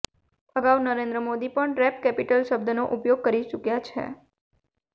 અગાઉ નરેન્દ્ર મોદી પણ rape capital શબ્દનો પ્રયોગ કરી ચૂક્યા છે